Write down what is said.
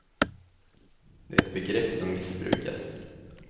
Det är ett begrepp som missbrukas.